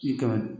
I ka